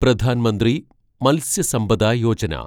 Pradhan Mantri Matsya Sampada Yojana